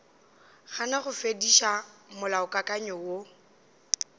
gana go fetiša molaokakanywa wo